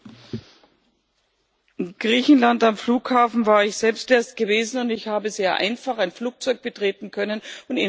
In Griechenland am Flughafen bin ich selbst erst gewesen, und ich habe sehr einfach ein Flugzeug betreten und innerhalb der EU reisen können.